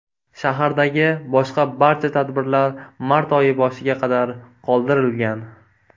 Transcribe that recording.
Shahardagi boshqa barcha tadbirlar mart oyi boshiga qadar qoldirilgan.